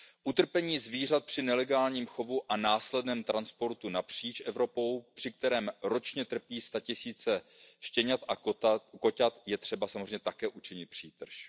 chovu. Utrpení zvířat při nelegálním chovu a následném transportu napříč Evropou, při kterém ročně trpí statisíce štěňat a koťat, je třeba samozřejmě také učinit